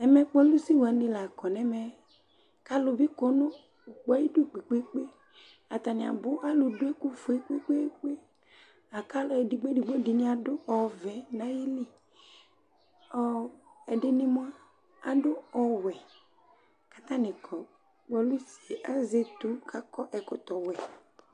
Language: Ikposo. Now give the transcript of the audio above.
Ɛmɛ kpolusi wanɩ la kɔ nɛmɛK 'alʋ bɩ kɔ nʋ ʋkpɔɛ ayidu kpekpekpe ; atanɩ abʋ Alʋ dʋ ɛkʋ fue kpekpekpe, akʋ alʋ edigbo –edigbo dɩnɩ adʋ ɔvɛ nayiliƆ, ɛdɩnɩ mʋa, adʋ ɔwɛ katanɩ kɔ Kpolusie azɛ etu kakɔ ɛkɔtɔ wɛ